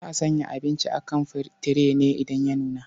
Za a sanya abinci a kan tire ne idan ya nuna.